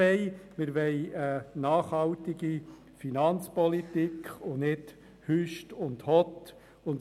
Wir wollen eine nachhaltige Finanzpolitik und kein hüst und hott.